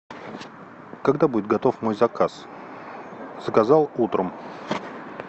когда будет готов мой заказ заказал утром